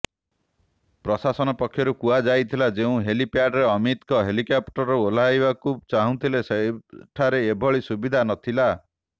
ପ୍ରଶାସନ ପକ୍ଷରୁ କୁହାଯାଇଥିଲା ଯେଉଁ ହେଲିପ୍ୟାଡରେ ଅମିତଙ୍କ ହେଲିକପ୍ଟର ଓହ୍ଲାଇବାକୁ ଚାହୁଁଥିଲେ ସେଠାରେ ଏଭଳି ସୁବିଧା ନଥିଲା